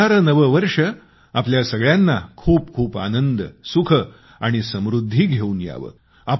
येणारे नवे वर्ष आपल्या सगळ्यांना खूप खूप आनंद सुख आणि समृद्धी घेऊन यावे